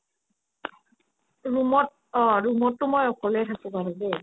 room ত অ room তো মই অকলেই থাকো বাৰো দেই